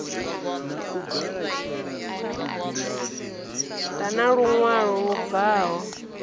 ḓa na luṅwalo lu bvaho